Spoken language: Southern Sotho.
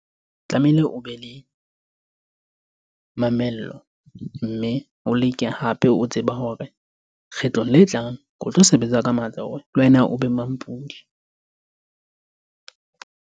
Tlamehile, o be le mamello mme o leke hape o tseba hore kgetlong le tlang o tlo sebetsa ka matla, hore le wena o be mampudi .